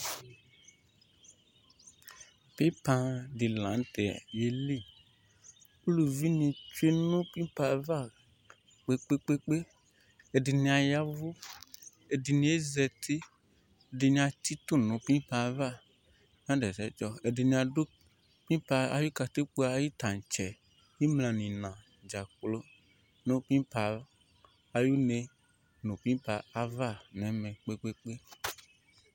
Pimpa lanʋ tɛ yeli ʋlʋvi nʋ tsʋe pimpa yɛli kpe kpe kpe ɛdini ya ɛvʋ ɛdini zati ɛdini atsitʋ nʋ pipa yɛ ava nadʋ ɛsɛtsɔ ɛdini dʋ pimpa ayʋ katikpo tantsɛ imla nʋ ina dzakplo nʋ pimpa ayʋ une nʋ pimpa ava nʋ ɛmɛ kpe kpe kpe